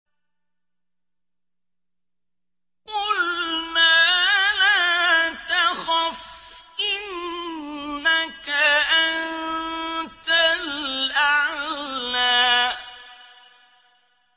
قُلْنَا لَا تَخَفْ إِنَّكَ أَنتَ الْأَعْلَىٰ